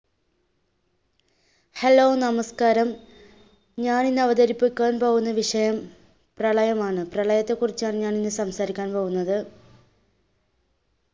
hello നമസ്കാരം, ഞാൻ ഇന്ന് അവതരിപ്പികുവാൻ പോവുന്ന വിഷയം പ്രളയമാണ്, പ്രളയത്തെ കുറിച്ചാണ് ഞാൻ ഇന്ന് സംസാരിക്കാൻ പോവുന്നത്.